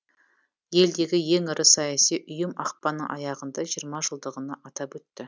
елдегі ең ірі саяси ұйым ақпанның аяғында жиырма жылдығын атап өтті